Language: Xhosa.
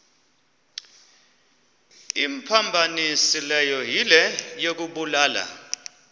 imphambanisileyo yile yokubulala